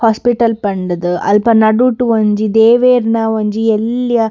Hospital ಪಂಡ್‌ದ್‌ ಅಲ್ಪ ನಡುಟ್‌ ಒಂಜಿ ದೇವೇರ್ನ ಒಂಜಿ ಎಲ್ಯ.